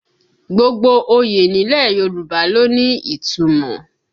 Gbogbo oyè nílẹ̀ Yorùbá ló ní ìtumọ̀